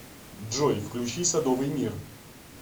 джой включи садовый мир